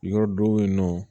Yɔrɔ dɔw ye nɔ